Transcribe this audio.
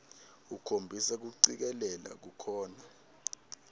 ukhombisa kucikelela kukhona